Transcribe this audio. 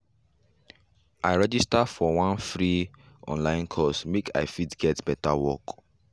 i register for one free course online make i fit get better work